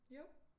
Jo